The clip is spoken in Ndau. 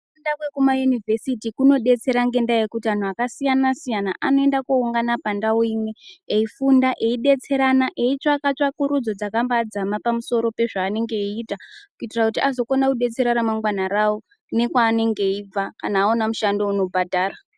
Kufunda kwekuna inivhesiti kunodetsera ngendaa yekut anthu akasiyana-siyana anoenda kooungana pandau imwe eifunda eidetserana eitsvaka tsvakurudzo dzakabaadzama pamusoro pezvaanenge eiitakuitira kuti azokona kudetsera ramangwana rawo nekwaanenge eibva kana aona mushando unobhadhara.